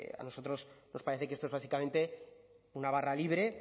a nosotros nos parece que esto es básicamente una barra libre